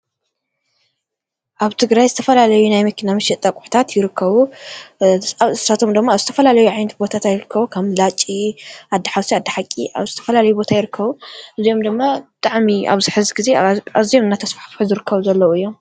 ኣብትግራይ ዝተፈላለዩ ናይመኪና መሸጢ ኣቝሕታት ይርከቡ ኣብ ስራሕቶም ድማ ኣብ ዝተፈላለየ ዓይነት ቦታታት ይርከዉ ከም ላጭ ኣድኃውሳይ ኣድሓቂ ኣብ ዝተፈላለይ ቦታ ይርከዉ እዙዮም ድማ ጣዓሚ ኣብዚ ሕዚ ጊዜ ኣዝዮም እናተስፋሕፍሑ ዝርከቡ ዘለዉ እዮም።